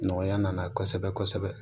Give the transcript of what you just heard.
Nɔgɔya nana kosɛbɛ kosɛbɛ